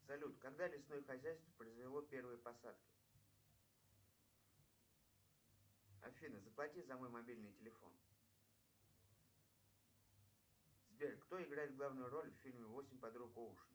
салют когда лесное хозяйство произвело первые посадки афина заплати за мой мобильный телефон сбер кто играет главную роль в фильме восемь подруг оушена